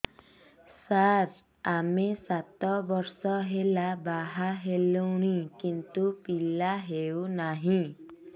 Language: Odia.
ସାର ଆମେ ସାତ ବର୍ଷ ହେଲା ବାହା ହେଲୁଣି କିନ୍ତୁ ପିଲା ହେଉନାହିଁ